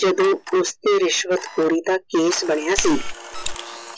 ਜਦੋ ਉਸਤੇ ਰਿਸ਼ਵਤ ਖੋਰੀ ਦਾ ਕੈਸੇ ਬਣਿਆ ਸੀ।